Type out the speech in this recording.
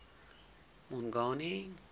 mongane